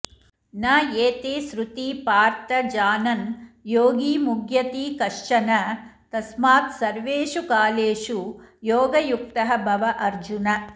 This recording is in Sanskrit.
न एते सृती पार्थ जानन् योगी मुह्यति कश्चन तस्मात् सर्वेषु कालेषु योगयुक्तः भव अर्जुन